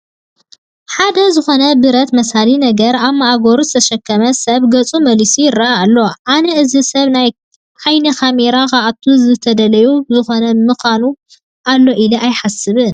ሓደ ዝኾነ ብረት መሳሊ ነገር ኣብ ማእገሩ ዝተሸከመ ሰብ ገፁ መሊሱ ይርአ ኣሎ፡፡ ኣነ እዚ ሰብ ናብ ዓይኒ ካሜራ ክኣቱ ዝተደለየሉ ዝኮነ ምክንያ ኣሎ ኢለ እየ ዝሓስብ፡፡